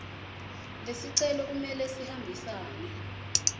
lesicelo kumele sihambisane